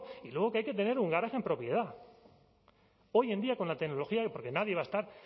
y luego que hay que tener un garaje en propiedad hoy en día con la tecnología y porque nadie va a estar